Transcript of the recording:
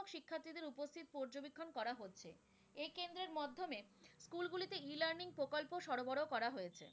ও সরোবর করা হয়েছে।